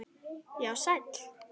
Já, sæl.